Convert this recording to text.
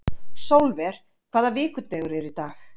Sólver, hvaða vikudagur er í dag?